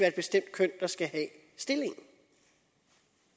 et bestemt køn der skal have stillingen